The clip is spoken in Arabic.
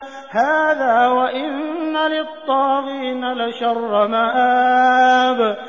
هَٰذَا ۚ وَإِنَّ لِلطَّاغِينَ لَشَرَّ مَآبٍ